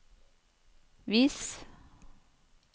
vis